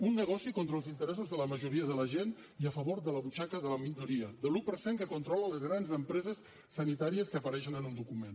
un negoci contra els interessos de la majoria de la gent i a favor de la butxaca de la minoria de l’un per cent que controla les grans empreses sanitàries que apareixen en el document